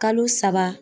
Kalo saba